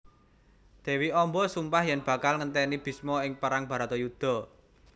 Dewi Amba sumpah yen bakal ngenteni Bisma ing perang Baratayuda